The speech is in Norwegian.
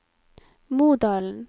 Modalen